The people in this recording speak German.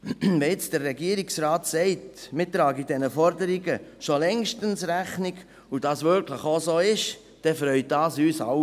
Wenn jetzt der Regierungsrat sagt, man trage diesen Forderungen schon längstens Rechnung, und wenn dies wirklich auch so ist, dann freut uns das alle.